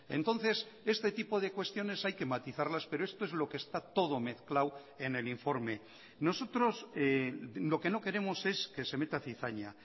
entonces este tipo de cuestiones hay que matizarlas pero esto es lo que está todo mezclado en el informe nosotros lo que no queremos es que se meta cizaña